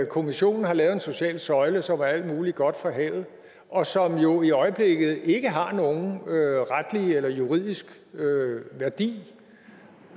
kommissionen har lavet en social søjle som er alt muligt godt fra havet og som jo i øjeblikket ikke har nogen retlig eller juridisk værdi